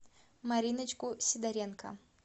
мариночку сидоренко